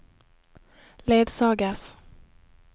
ledsages